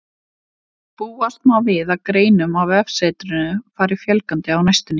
Búast má við að greinum á vefsetrinu fari fjölgandi á næstunni.